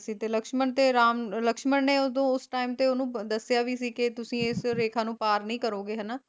ਤੇ ਲਕਸ਼ਮਣ ਤੇ ਰਾਮ ਲਕਸ਼ਮਣ ਨੇ ਉਹਦੋਂ ਉਸ time ਤੇ ਉਹਨੂੰ ਦੱਸਿਆ ਵੀ ਸੀ ਕਿ ਤੁਸੀ ਇਸ ਰੇਖਾ ਨੂੰ ਪਾਰ ਨਹੀਂ ਕਰੋਗੇ ਹਨਾਂ